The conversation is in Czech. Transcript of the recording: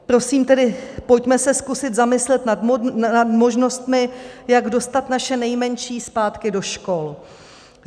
Prosím tedy, pojďme se zkusit zamyslet nad možnostmi, jak dostat naše nejmenší zpátky do škol.